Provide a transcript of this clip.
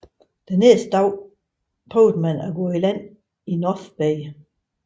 Den næste dag prøvede man at gå i land i North Bay